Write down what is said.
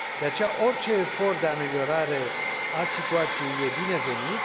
De aceea, orice efort de ameliorare a situației e binevenit.